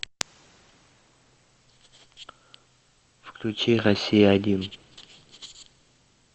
включи россия один